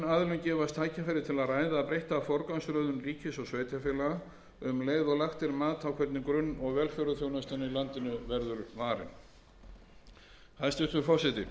gefast tækifæri til að ræða breytta forgangsröðun ríkis og sveitarfélaga um leið og lagt er mat á hvernig grunn og velferðarþjónustan í landinu verður varin hæstvirtur forseti